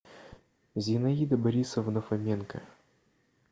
зинаида борисовна фоменко